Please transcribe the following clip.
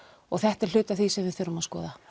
og þetta er hluti af því sem við þurfum að skoða